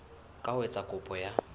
ka ho etsa kopo ya